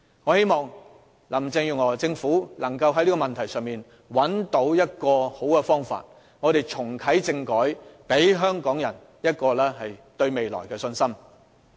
我希望林鄭月娥政府能在這個問題上找到出路，重啟政改，讓香港人對未來充滿信心。